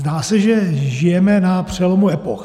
Zdá se, že žijeme na přelomu epoch.